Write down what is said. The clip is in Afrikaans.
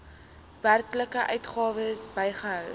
werklike uitgawes bygehou